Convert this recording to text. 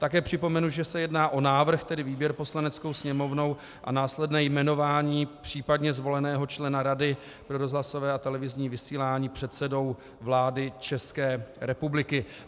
Také připomenu, že se jedná o návrh, tedy výběr Poslaneckou sněmovnou a následné jmenování případně zvoleného člena Rady pro rozhlasové a televizní vysílání předsedou vlády České republiky.